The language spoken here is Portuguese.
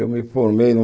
Eu me formei no